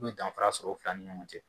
i bɛ danfara sɔrɔ u fila ni ɲɔgɔn cɛ